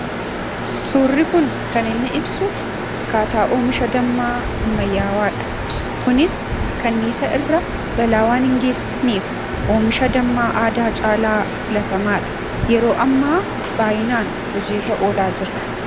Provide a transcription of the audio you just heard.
Surrii kun kan inni ibsuu akkataa omishaa Dammaa ammayaawwaadha. Kunis Kaanisaa irra bala waan hin gesifneef omishaa Dammaa aadaa irra baay'ee filatamaadha. Yeroo amma baay'inaan hojii irra olaa jiraa.